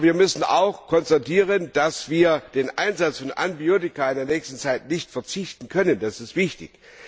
Aber wir müssen auch konstatieren, dass wir auf den Einsatz von Antibiotika in der nächsten Zeit nicht verzichten können, das ist wichtig.